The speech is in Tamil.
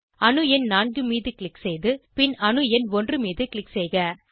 அணு எண் 4 மீது க்ளிக் செய்து பின் அணு எண் 1 மீதும் க்ளிக் செய்க